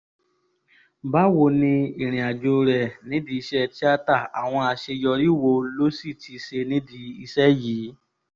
báwo ni ìrìnàjò rẹ nídìí iṣẹ́ tíáta àwọn àṣeyọrí wo lo sì ti ṣe nídìí iṣẹ́ yìí